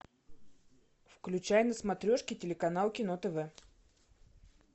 включай на смотрешке телеканал кино тв